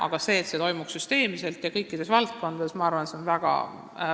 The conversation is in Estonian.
Aga ettepanek, et see toimuks süsteemselt ja kõikides valdkondades, on minu arvates väga hea.